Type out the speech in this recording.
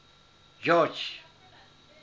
george